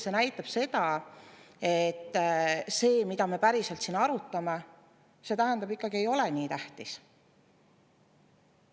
See näitab seda, et see, mida me päriselt siin arutame, see, tähendab, ikkagi ei ole nii tähtis.